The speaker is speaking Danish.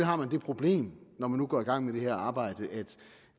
har man det problem når man nu går i gang med det her arbejde at